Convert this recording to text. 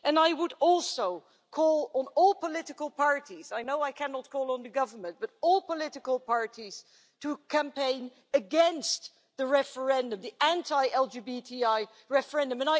I would also call on all political parties I know I cannot call on the government, but all political parties to campaign against the anti LGBTI referendum.